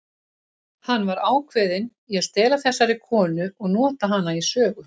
Hann var ákveðinn í að stela þessari konu og nota hana í sögu.